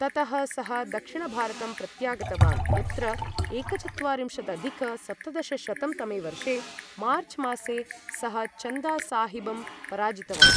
ततः सः दक्षिणभारतं प्रत्यागतवान्, यत्र एकचत्वारिंशदधिक सप्तदशशतं तमवर्षे मार्च् मासे सः चन्दा साहिबं पराजितवान् ।